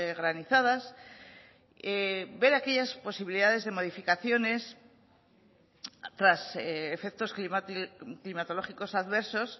granizadas ver aquellas posibilidades de modificaciones tras efectos climatológicos adversos